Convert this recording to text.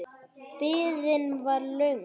Biðin var löng.